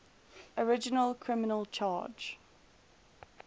original criminal charge